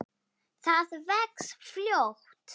Það vex fljótt.